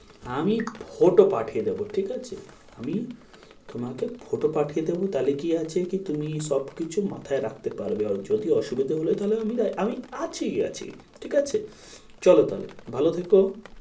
আমি photo পাঠিয়ে দেবো ঠিক আছে? আমি তোমাকে photo পাঠিয়ে দেবো তাহলে কি আছে কি তুমি সবকিছু মাথায় রাখতে পারবে। আর যদি অসুবিধা হলে তাহলে আমি আমি কাছেই আছি ঠিক আছে, চলো তাহলে ভালো থেকো।